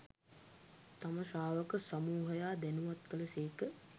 තම ශ්‍රාවක සමූහයා දැනුවත් කළ සේක.